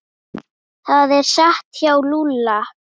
Það er satt hjá Lúlla.